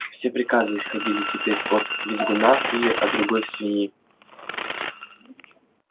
все приказы исходили теперь от визгуна или от другой свиньи